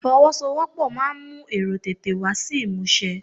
Ifowosowopo máa ń mú èrò tètè wá sí ìmúṣẹ.